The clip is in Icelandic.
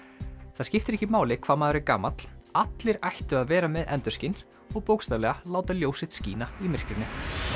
það skiptir ekki máli hvað maður er gamall allir ættu að vera með endurskin og bókstaflega láta ljós sitt skína í myrkrinu